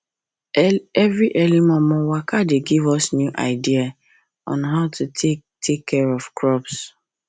every early momo waka dey give us new idea on how to take dey take care of crops